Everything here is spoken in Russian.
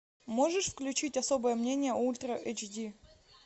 можешь включить особое мнение ультра эйч ди